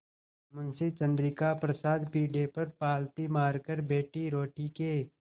मुंशी चंद्रिका प्रसाद पीढ़े पर पालथी मारकर बैठे रोटी के